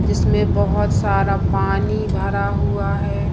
जिसमें बहुत सारा पानी भरा हुआ है।